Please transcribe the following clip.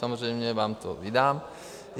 Samozřejmě vám to vydám.